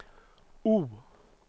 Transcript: O